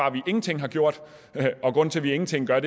at vi ingenting har gjort og at grunden til at vi ingenting gør